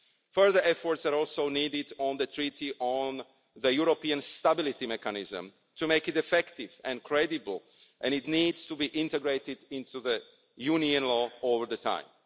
Further efforts are also needed on the Treaty on the European Stability Mechanism to make it effective and credible and it needs to be integrated into Union law over time.